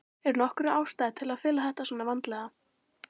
Er nokkur ástæða til að fela þetta svona vandlega?